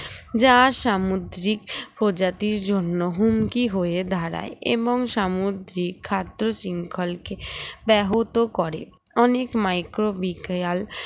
যার সামুদ্রিক ও জাতির জন্য হুমকি হয়ে দাঁড়ায় এবং সামুদ্রিক খাদ্য শৃংখলকে ব্যাহত করে অনেক micro bikreal